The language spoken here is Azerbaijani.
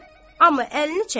amma əlini çəkmədi.